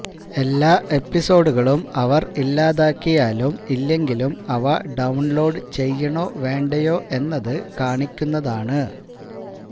എല്ലാ എപ്പിസോഡുകളും അവർ ഇല്ലാതാക്കിയാലും ഇല്ലെങ്കിലും അവ ഡൌൺലോഡ് ചെയ്യണോ വേണ്ടയോ എന്നത് കാണിക്കുന്നതാണ്